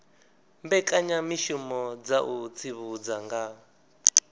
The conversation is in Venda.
mbekanyamishumo dza u tsivhudza nga